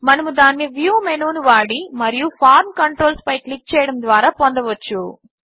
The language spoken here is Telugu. మనము దానిని వ్యూ మేను మెనూ ను వాడి మరియు ఫార్మ్ కంట్రోల్స్ పై క్లిక్ చేయడము ద్వారా పొందవచ్చు